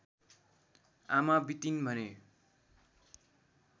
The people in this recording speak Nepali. आमा बितिन् भने